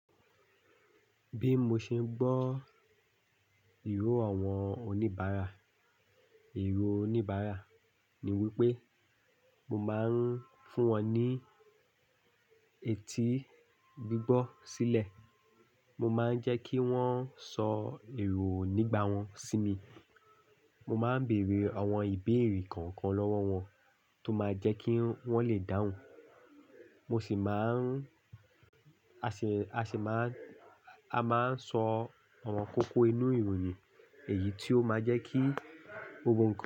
Bí mo ṣe ń gbọ́ ìró àwọn oníbàárà, ìró oníbàárà ni wípé mo máa ń fún wọn ní etí gbígbọ́ sílẹ̀. Mo máa ń jẹ́ kí wón sọ ìró nígbà wọn sí mi. Mo máa ń bèrè àwọn ìbéèrè kànkan lọ́wọ́ wọn tó máa jẹ́ kí wọ́n le dáhùn. Mo sì máa ń, a sì máa ń, a máa ń sọ awon kókó inú ìròyìn èyí tó máa jẹ́ kí gbogbo kan.